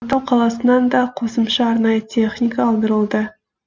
атырау қаласынан да қосымша арнайы техника алдырылды